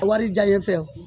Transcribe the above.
Wari diyan ye fɛ